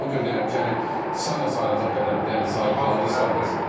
Ona görə deyirəm ki, yəni sayla sayılacaq qədərdir, yəni saydıqlarınızı saydınız.